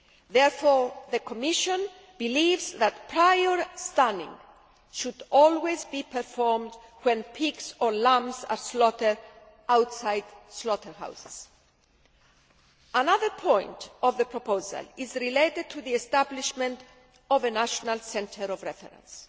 Therefore the Commission believes that prior stunning should always be performed when pigs or lambs are slaughtered outside slaughterhouses. Another point of the proposal is related to the establishment of a national centre of reference.